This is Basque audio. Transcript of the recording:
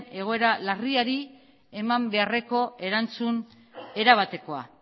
egoera larriari eman beharreko erantzun erabatekoa